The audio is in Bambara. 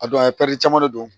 A don a ye caman de don